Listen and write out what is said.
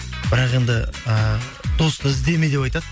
бірақ енді ыыы досты іздеме деп айтады